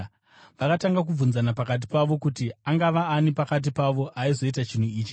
Vakatanga kubvunzana pakati pavo kuti angava ani pakati pavo aizoita chinhu ichi.